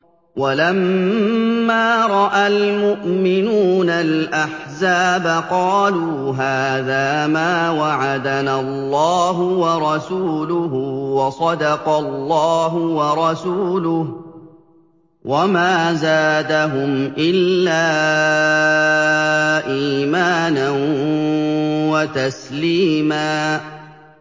وَلَمَّا رَأَى الْمُؤْمِنُونَ الْأَحْزَابَ قَالُوا هَٰذَا مَا وَعَدَنَا اللَّهُ وَرَسُولُهُ وَصَدَقَ اللَّهُ وَرَسُولُهُ ۚ وَمَا زَادَهُمْ إِلَّا إِيمَانًا وَتَسْلِيمًا